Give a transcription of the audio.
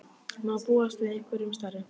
Má búast við einhverjum stærri?